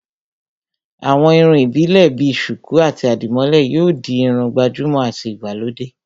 àwọn irun ìbílè bi sùkú àti àdìmólẹ̀ yóò di Irun gbàjúmọ̀ àti ìgbàlódé